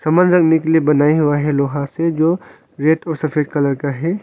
समान रखने के लिए बनाया हुआ है लोहा से जो रेड और सफेद कलर का है।